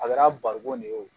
A kɛra barikɔn de ye o